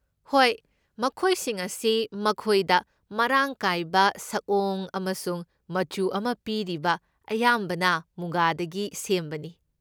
ꯍꯣꯏ, ꯃꯈꯣꯏꯁꯤꯡ ꯑꯁꯤ ꯃꯈꯣꯏꯗ ꯃꯔꯥꯡ ꯀꯥꯏꯕ ꯁꯛꯑꯣꯡ ꯑꯃꯁꯨꯡ ꯃꯆꯨ ꯑꯃ ꯄꯤꯔꯤꯕ ꯑꯌꯥꯝꯕꯅ ꯃꯨꯒꯥꯗꯒꯤ ꯁꯦꯝꯕꯅꯤ꯫